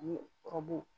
Ani ɔrɔbu